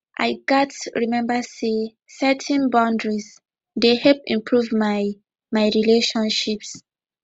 i gats remember say setting boundaries dey help improve my my relationships